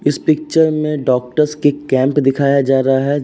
इस पिक्चर में डॉक्टरस के कैंप दिखाया जा रहा है।